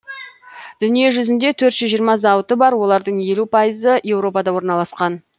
дүниежүзінде төрт жүз жиырма зауыты бар олардың елу пайызы еуропада орналасқан